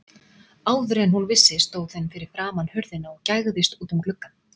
Áður en hún vissi af stóð hún fyrir framan hurðina og gægðist út um gluggann.